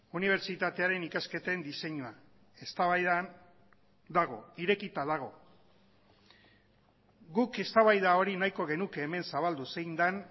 unibertsitatearen ikasketen diseinua eztabaidan dago irekita dago guk eztabaida hori nahiko genuke hemen zabaldu zein den